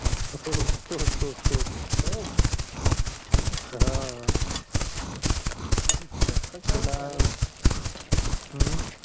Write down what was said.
हो तोच तोच तोच